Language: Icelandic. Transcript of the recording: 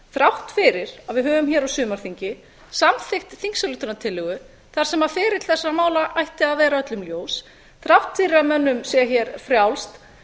þrátt fyrir að við höfum hér á sumarþingi samþykkt þingsályktunartillögu þar sem ferill þessara mála ætti að vera öllum ljós þrátt fyrir að mönnum sé hér frjálst